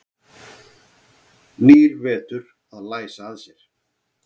Nýr vetur að læsa að sér.